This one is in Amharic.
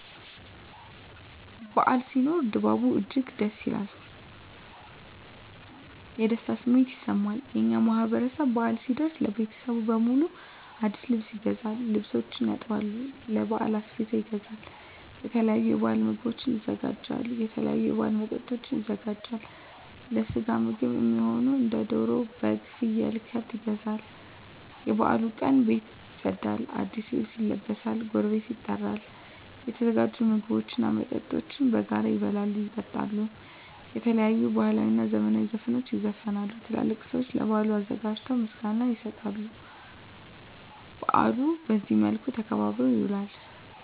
በዓል ሲኖር ድባቡ እጅግ ደስ ይላል። የደስታ ስሜትም ይሰማል። የእኛ ማህበረሰብ በአል ሲደርስ ለቤተሰብ በሙሉ አዲስ ልብስ ይገዛል፤ ልብሶችን ያጥባል፤ ለበዓል አስቤዛ ይገዛል፤ የተለያዩ የበዓል ምግቦችን ያዘጋጃል፤ የተለያዩ የበዓል መጠጦችን ያዘጋጃል፤ ለስጋ ምግብ እሚሆኑ እንደ ደሮ፤ በግ፤ ፍየል፤ ከብት ይገዛሉ፤ የበዓሉ ቀን ቤት ይፀዳል፤ አዲስ ልብስ ይለበሳል፤ ጎረቤት ይጠራል፤ የተዘጋጁ ምግቦች እና መጠጦች በጋራ ይበላሉ፤ ይጠጣሉ፤ የተለያዩ ባህላዊ እና ዘመናዊ ዘፈኖች ይዘፈናሉ፤ ትላልቅ ሰዊች ለበዓሉ አዘጋጆች ምስጋና ይሰጣሉ፤ በአሉ በዚህ መልክ ተከብሮ ይውላል።